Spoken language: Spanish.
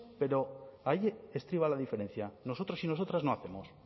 pero ahí estriba la diferencia nosotras y nosotros no hacemos